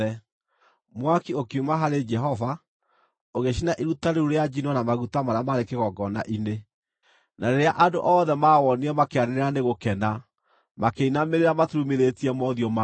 Mwaki ũkiuma harĩ Jehova ũgĩcina iruta rĩu rĩa njino na maguta marĩa maarĩ kĩgongona-inĩ. Na rĩrĩa andũ othe maawoonire makĩanĩrĩra nĩ gũkena, makĩinamĩrĩra maturumithĩtie mothiũ mao thĩ.